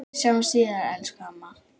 Við sjáumst síðar, elsku amma.